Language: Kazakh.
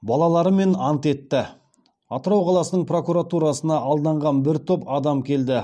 балаларымен ант етті атырау қаласының прокуратурасына алданған бір топ адам келді